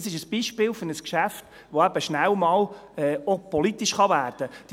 Dies ist ein Beispiel für ein Geschäft, welches schnell einmal politisch werden kann.